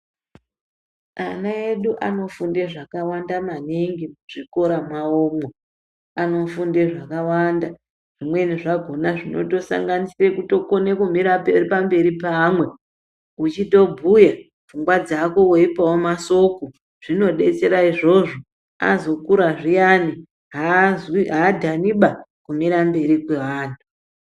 Ana edu anofunde zvakawanda maningi muzvikora mwaomwo anofunde zvakawanda zvimweni zvakona zvinotosanganise kutokone kumire pamberi peamwe uchitobhuya pfungwa dzako weipawo masoko, zvinodetsera izvozvo azokura zviyani adhaniba kumire mberi kweanhu.